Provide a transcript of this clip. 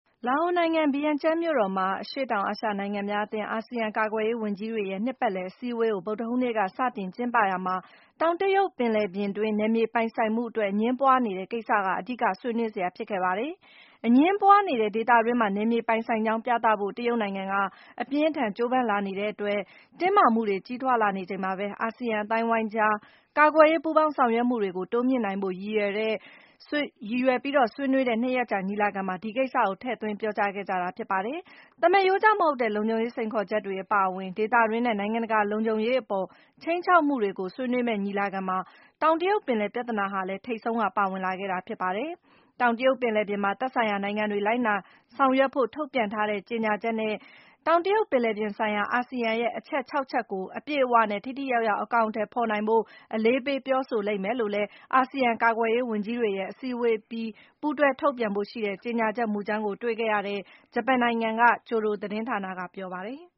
လာအိုနိုင်ငံ ဗီယန်ကျန်းမြို့တော်မှာ အရှေ့တောင်အာရှနိုင်ငံများအသင်း ASEAN ကာကွယ်ရေးဝန်ကြီးတွေရဲ့ နှစ်ပတ်လည် အစည်းအဝေးကို ဗုဒ္ဓဟူးနေ့က စတင်ကျင်းပရာမှာ တောင်တရုတ် ပင်လယ်ပြင်တွင်း နယ်မြေပိုင်ဆိုင်မှုအတွက် အငြင်းပွားနေတဲ့ ကိစ္စဟာလည်း အဓိက ဆွေးနွေးစရာ ဖြစ်ခဲ့ပါတယ်။ အငြင်းပွားနေတဲ့ ဒေသတွင်းမှာ နယ်မြေပိုင်ဆိုင်ကြောင်း ပြသဖို့ တရုတ်နိုင်ငံက အပြင်းအထန် ကြိုးပမ်းလာနေတဲ့အတွက် တင်းမာမှုတွေ ကြီးထွားလာနေချိန်မှာပဲ - အာဆီယံ အသိုင်းအဝိုင်းကြား ကာကွယ်ရေး ပူးပေါင်းဆောင်ရွက်မှုတွေ တိုးမြှင့်နိုင်ဖို့ ရည်ရွယ် ဆွေးနွေးတဲ့ ၂ ရက်ကြာ ညီလာခံမှာ ဒီကိစ္စကို ထည့်သွင်းခဲ့ကြတာ ဖြစ်ပါတယ်။ သမရိုးကျမဟုတ်တဲ့ လုံခြုံရေး စိန်ခေါ်ချက်တွေ အပါအဝင် ဒေသတွင်းနဲ့ နိုင်ငံတကာ လုံခြုံရေးအပေါ် ခြိမ်းခြောက်မှုတွေကို ဆွေးနွေးမယ့် ညီလာခံမှာ - တောင်တရုတ်ပင်လယ်ပြဿနာဟာလည်း ထိပ်ဆုံးက ပါဝင်လာခဲ့တာ ဖြစ်ပါတယ်။ တောင်တရုတ်ပင်လယ်ပြင်မှာ သက်ဆိုင်ရာ နိုင်ငံတွေ လိုက်နာ ဆောင်ရွက်ဖို့ ထုတ်ပြန်ထားတဲ့ ကြေညာချက်နဲ့ တောင်တရုတ်ပင်လယ်ပြင်ဆိုင်ရာ အာဆီယံရဲ့ အချက် ၆ ချက်ကို အပြည့်အဝနဲ့ ထိထိရောက်ရောက် အကောင်အထည်ဖော်နိုင်ဖို့ အလေးပေး ပြောဆိုလိမ့်မယ်လို့လည်း အာဆီယံ ကာကွယ်ရေးဝန်ကြီးတွေရဲ့ အစည်းအဝေးအပြီး ပူးတွဲထုတ်ပြန်ဖို့ရှိတဲ့ ကြေညာချက်မူကြမ်းကို တွေ့ခဲ့ရတဲ့ ဂျပန်နိုင်ငံက Kyodo သတင်းဌာနက ပြောပါတယ်။